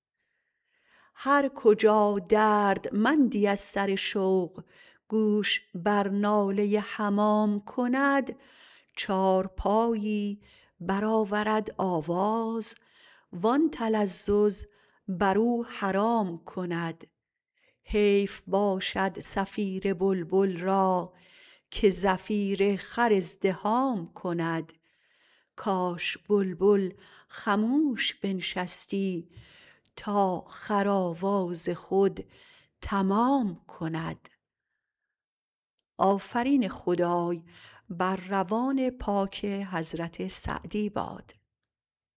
هر کجا دردمندی از سر شوق گوش بر ناله حمام کند چارپایی برآورد آواز وان تلذذ برو حرام کند حیف باشد صفیر بلبل را که زفیر خر ازدحام کند کاش بلبل خموش بنشستی تا خر آواز خود تمام کند